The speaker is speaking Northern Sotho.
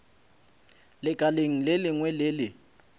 lekaleng le lengwe le le